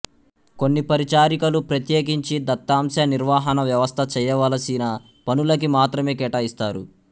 కొన్ని పరిచారికలు ప్రత్యేకించి దత్తాంశ నిర్వహణ వ్యవస్థ చెయ్యవలసిన పనులకి మాత్రమే కేటాయిస్తారు